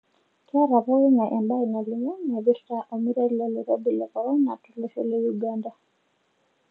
Ketaa poking'ae embae nalimu naipirta olmeitai lolkirobi le korona tolosho le Uganda.